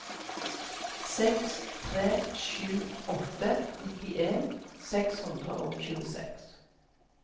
seks tre sju åtte nittien seks hundre og tjueseks